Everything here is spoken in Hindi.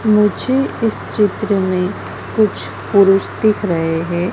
मुझे इस चित्र में कुछ पुरुष दिख रहे हैं।